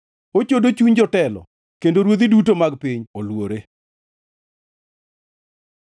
Ochodo chuny jotelo, kendo ruodhi duto mag piny oluore.